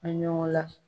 A ɲɔgɔn la